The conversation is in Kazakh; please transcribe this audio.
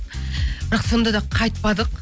бірақ сонда да қайтпадық